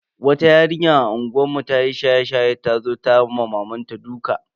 Wata yarinya a unguwar mu ta yi shaye-shaye ta zo ta ma mamanta duka.